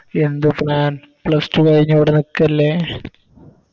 എന്ത് plan plus two കൈഞ്ഞ് ഇവ്ടെ നിക്ക് അല്ലെ